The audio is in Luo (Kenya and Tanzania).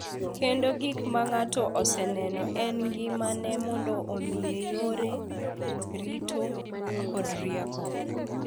Kendo gik ma ng’ato oseneno e ngimane mondo omiye yore, rito, kod rieko.